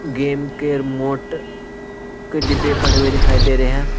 Game के remote के डिब्बे पड़े हुए दिखाई दे रहे हैं।